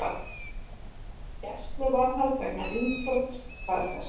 Gæsluvarðhald vegna innbrots staðfest